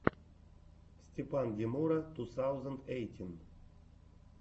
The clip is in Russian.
степан демура ту саузэнд эйтин